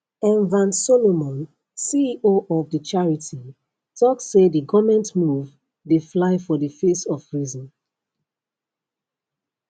enver solomon ceo of di charity tok say di goment move dey fly for di face of reason